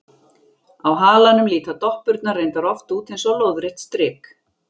Á halanum líta doppurnar reyndar oft út eins og lóðrétt strik.